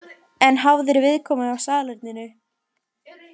En hafðir viðkomu á salerninu?